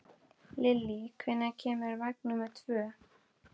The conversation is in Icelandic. Lilli, hvenær kemur vagn númer tvö?